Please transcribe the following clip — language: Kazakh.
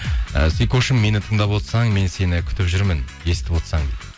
і сикошым мені тыңдап отырсаң мен сені күтіп жүрмін естіп отырсаң дейді